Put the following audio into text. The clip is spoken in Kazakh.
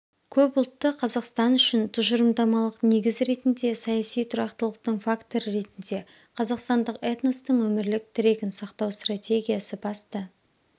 көпұлтты қазақстан үшін тұжырымдамалық негіз ретінде саяси тұрақтылықтың факторы ретінде қазақстандық этностың өмірлік тірегін сақтау стратегиясы басты